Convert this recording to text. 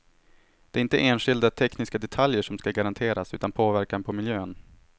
Det är inte enskilda tekniska detaljer som ska garanteras utan påverkan på miljön.